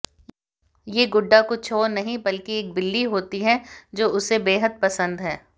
ये गुड्डा कुछ और नहीं बल्कि एक बिल्ली होती है जो उसे बेहद पसंद है